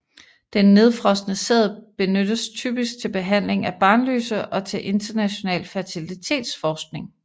Den nedfrosne sæd benyttes typisk til behandling af barnløse og til international fertilitetsforskning